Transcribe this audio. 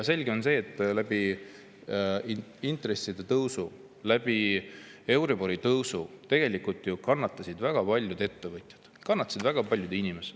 Selge on see, et intresside tõusu, euribori tõusu tõttu kannatasid ju väga paljud ettevõtjad, kannatasid väga paljud inimesed.